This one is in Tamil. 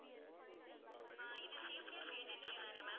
ஆஹ் இது சிபிஎஸ் ஏஜென்சி தானே ma'am